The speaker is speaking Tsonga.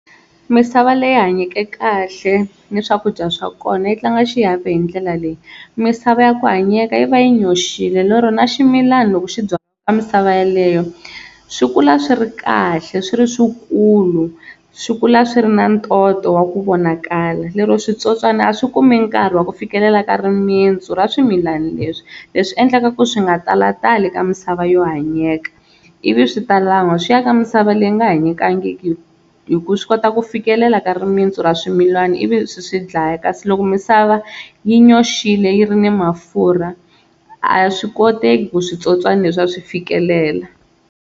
Misava leyi hanyeke kahle ni swakudya swa kona yi tlanga xiave hi ndlela leyi, misava ya ku hanyeka yi va yi nyoxile lero na ximilana loko xi byala misava yeleyo swi kula swi ri kahle swi ri swi kulu swi kula swi ri na ntoto wa ku vonakala. Lero switsotswani a swi kumi nkarhi wa ku fikelela ka rimintsu ra swimilana leswi, leswi endlaka ku swi nga talatali ka misava yo hanyeka, ivi swi ta lan'wa swi ya ka misava leyi nga hanyekangiki hi ku swi kota ku fikelela ka rimintsu ra swimilana ivi swi swi dlaya. Kasi loko misava yi nyoxile yi ri na mafurha a swi koteki ku switsotswana leswiya swi fikelela.